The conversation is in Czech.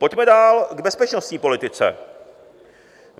Pojďme dál k bezpečnostní politice.